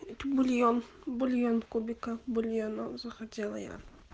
это бульон бульон в кубиках бульона захотела я